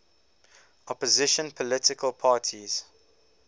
opposition political parties